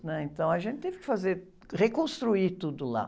né? Então, a gente teve que fazer, reconstruir tudo lá.